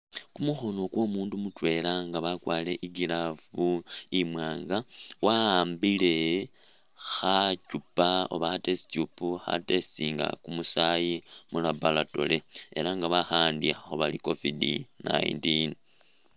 Kumukhono kwomundu mutwela nga wakwarile i'glove imwanga wa'ambile khachupa oba kha'test tube kha'testinga kumusaayi mu'laboratory elah nga bakha'andikhakho bari COVID-19